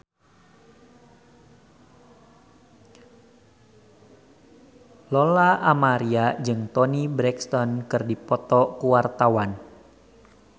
Lola Amaria jeung Toni Brexton keur dipoto ku wartawan